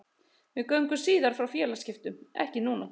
Við göngum síðar frá félagaskiptum, ekki núna.